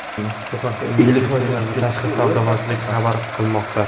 Bu haqda Investitsiyalar va tashqi savdo vazirligi xabar qilmoqda .